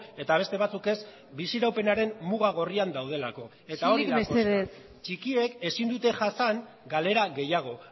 eta beste batzuk ez biziraupenaren muga gorrian daudelako isilik mesedez eta hor dago koska txikiek ezin dute jasan galera gehiago